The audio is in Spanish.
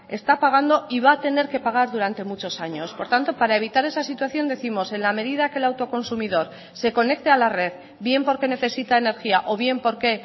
está pagando y va a tener que pagar durante muchos años por tanto para evitar esa situación décimos en la medida que el auto consumidor se conecte a la red bien porque necesita energía o bien porque